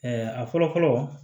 a fɔlɔ fɔlɔ